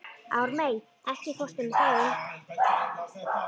Ármey, ekki fórstu með þeim?